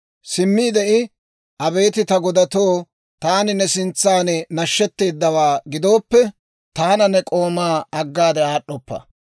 Simmiide I, «Abeet ta Godaw, taani ne sintsan nashshetteedawaa gidooppe, taana ne k'oomaa aggaade aad'd'oppa.